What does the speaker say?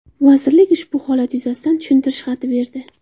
Vazirlik ushbu holat yuzasidan tushuntirish berdi.